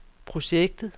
projektet